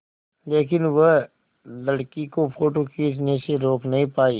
लेकिन वह लड़की को फ़ोटो खींचने से रोक नहीं पाई